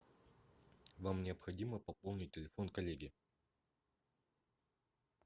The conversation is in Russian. вам необходимо пополнить телефон коллеги